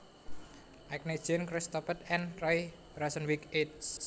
Agnew Jean Christophe and Roy Rosenzweig eds